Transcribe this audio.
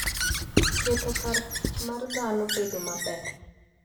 Keto kar tich mar dhano bedo maber.